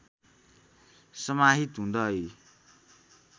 समाहित हुँदै